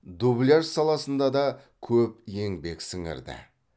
дубляж саласында да көп еңбек сіңірді